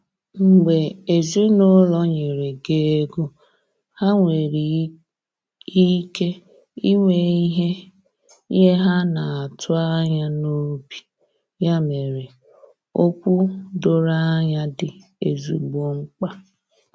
Mgbe ezinụlọ nyere gị ego, ha nwere ike inwe ihe ihe ha atụ anya n’obi, ya mere, okwu doro anya dị ezigbo mkpa.